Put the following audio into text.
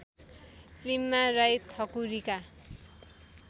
फिल्ममा राई ठकुरीका